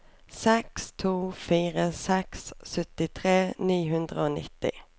seks to fire seks syttitre ni hundre og nitti